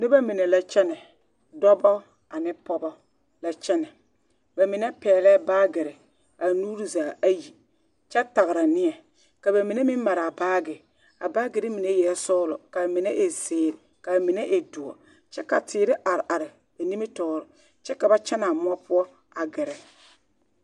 Noba mine la kyɛnɛ dɔbɔ ane pɔɡebɔ la kyɛ ba mine pɛɛlɛɛ baaɡere a nuuri zaa ayi kyɛ taɡra neɛ ka ba mine meŋ mare a baaɡe a baaɡere mine eɛ sɔɡelɔ kaa mine e ziiri kaa mine e doɔ kyɛ ka teere areare a nimitɔɔr kyɛ ka ba kyɛnɛ a moɔ poɔ a ɡɛrɛ.